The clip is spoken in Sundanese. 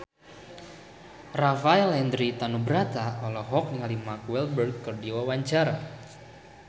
Rafael Landry Tanubrata olohok ningali Mark Walberg keur diwawancara